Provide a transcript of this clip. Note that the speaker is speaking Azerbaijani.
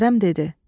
Kərəm dedi: